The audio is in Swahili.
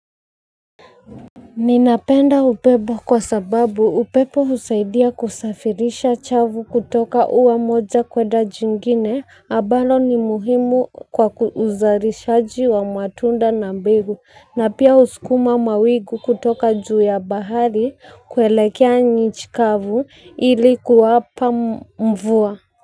Ninapenda upepo kwa sababu upepo husaidia kusafirisha chavu kutoka ua moja kuenda jingine ambalo ni muhimu kwa uzalishaji wa matunda na mbegu na pia husukuma mawingu kutoka juu ya bahari kuelekea nchi kavu ili kuwapa mvua.